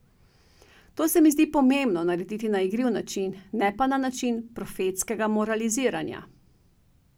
To se mi zdi pomembno narediti na igriv način, ne pa na način profetskega moraliziranja.